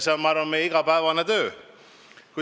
See on, ma arvan, meie igapäevane töö.